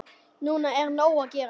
Núna er nóg að gera.